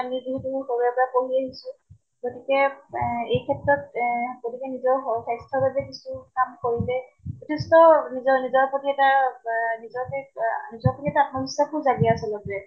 সৰুৰে পৰা পঢ়ি আহিছো। গতিকে এহ এই ক্ষেত্ৰত এহ গতিকে নিজৰ শ স্ৱাস্থ্যৰ বাবে কিছু কাম কৰিলে যথেষ্ট নিজৰ নিজৰ প্ৰতি এটা ৱা নিজকে আহ নিজৰ প্ৰতি এটা জাগে আচলতে।